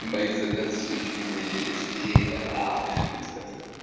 мои заказы все ещё не пришли